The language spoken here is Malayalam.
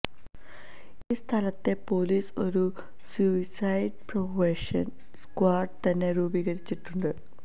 ഈ സ്ഥലത്തെ പോലീസ് ഒരു സൂയിസൈഡ് പ്രിവന്ഷന് സ്ക്വാഡ് തന്നെ രൂപീകരിച്ചിട്ടുണ്ട്